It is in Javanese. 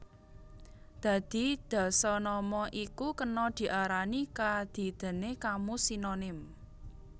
Dadi dasanama iku kena diarani kadidèné kamus sinonim